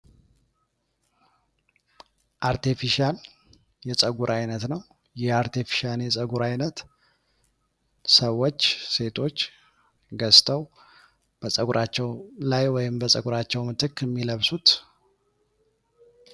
አርቴፊሻን የጸጉር አይነት ነው ።ይህ አርቴፊሻን የጸጉር ዓይነት ሰዎች ሴቶች ገዝተው በጸጉራቸው ላይ ወይም በጸጉራቸው ምትክ የሚለብሱት